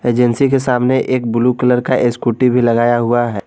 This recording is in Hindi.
एजेंसी के सामने एक ब्लू कलर का स्कूटी भी लगाया हुआ है।